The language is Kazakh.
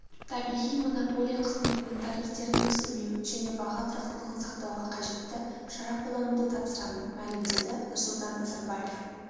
табиғи монополия қызметінің тарифтерін өсірмеу және баға тұрақтылығын сақтауға қажетті шара қолдануды тапсырамын мәлімдеді нұрсұлтан назарбаев